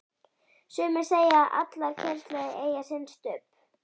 Sumir segja að allar kynslóðir eigi sinn Stubb.